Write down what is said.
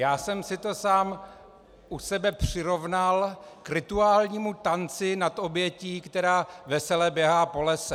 Já jsem si to sám u sebe přirovnal k rituálnímu tanci nad obětí, která vesele běhá po lese.